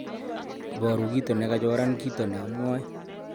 Iboru kito ne kachoran kito ne amwae